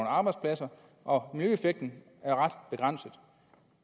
arbejdspladser og miljøeffekten er ret begrænset